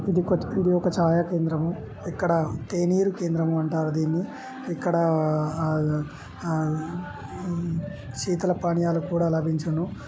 ఇది కొత్తపూడి ఒక ఛాయా కేంద్రము ఇక్కడ తేనీరు కేంద్రము అంటారు దీన్ని ఇక్కడ ఆ -ఆ -శీతల పానీయాలు కూడా లభించును.